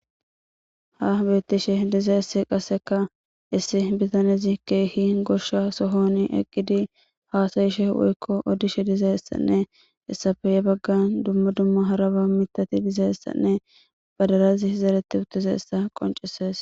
Ha betishe dizayisi issi bittaneyi gosha sohoni eqizayisi hasayishe woyiko odishe dizayisi guy baggara mithayine baddalayi zeretidayisi bettesi